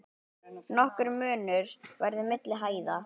Nokkur munur verði milli hæða.